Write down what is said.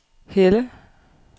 Helle